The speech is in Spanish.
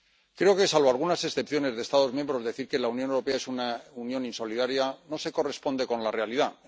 Creo que salvo algunas excepciones de Estados miembros, decir que la Unión Europea es una Unión insolidaria no se corresponde con la realidad.